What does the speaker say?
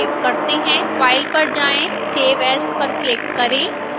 file पर जाएँ save as पर क्लिक करें